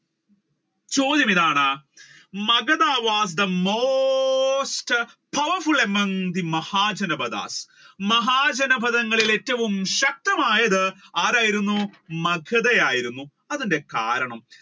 ചോദ്യം ഇതാണ് Magdha was the most powerful among the Mahajanapadha മഹാജനപഥങ്ങളിൽ ഏറ്റവും ശക്തമായത് ആരായിരുന്നു മഗധ ആയിരുന്നു അതിന്റെ കാരണം?